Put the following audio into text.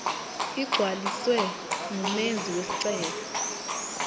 ligcwaliswe ngumenzi wesicelo